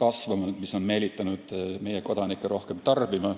kasvanud ja see on meelitanud meie kodanikke rohkem tarbima.